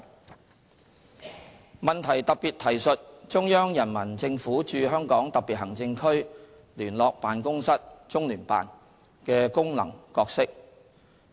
質詢特別提述中央人民政府駐香港特別行政區聯絡辦公室的功能角色。